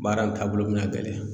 Baara in taabolo bɛna gɛlɛya